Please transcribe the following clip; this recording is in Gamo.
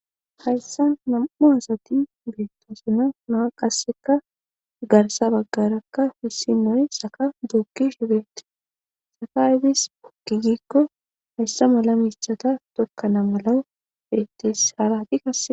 hayssan nam7u asati beettoosina naa qasseka garsa baggarakka hissi noy saka dookkishibeeti saka aybis gizikko hayssa mala miishata tokkana mala bettes haarati kase